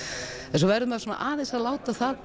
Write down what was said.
en svo verður maður aðeins að láta það